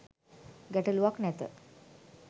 ගැටළුවක් නැත